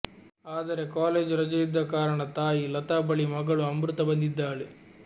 ಆದರೆ ಕಾಲೇಜ್ ರಜೆ ಇದ್ದ ಕಾರಣ ತಾಯಿ ಲತಾ ಬಳಿ ಮಗಳು ಅಮೃತಾ ಬಂದಿದ್ದಾಳೆ